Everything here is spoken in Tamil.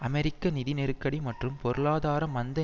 அமெரிக்க நிதி நெருக்கடி மற்றும் பொருளாதார மந்த